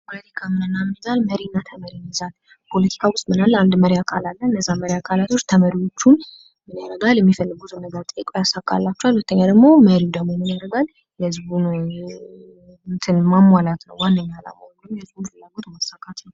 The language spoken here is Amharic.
ፖለቲካ ምን እና ምን ይይዛል? መሪና ተመሪ ይይዛል። ፖለቲካ ዉስጥ ምን አለ? አንድ መሪ አካል አለ። እነዚያ ተመሪ አካላቶች ተመሪዎቹ የሚፈልጉትን ነገር ጠይቆ ያሳካላቸዋል። እንደገና ደግሞ መሪዉ ደግሞ ምን ያደርጋል የህዝቡን ማሟላት ነዉ ዋነኛ አላማዉ። የህዝቡን ፍላጎት ማሳካት ነዉ።